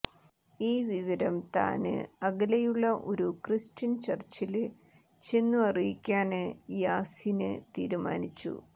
ഈ വിവരം താന് അകലെയുള്ള ഒരു ക്രിസ്ത്യന് ചര്ച്ചില് ചെന്നു അറിയിക്കാന് യാസ്സിന് തീരുമാനിച്ചു